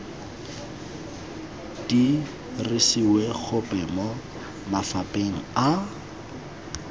dirisiwe gope mo mafapheng a